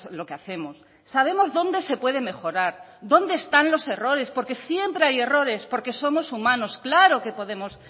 lo que hacemos sabemos dónde se puede mejorar donde están los errores porque siempre hay errores porque somos humanos claro que podemos